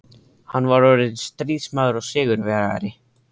Hann var orðinn stríðsmaður og sigurvegari.